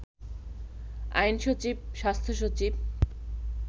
আইনসচিব, স্বাস্থ্যসচিব